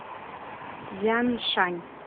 цзяншань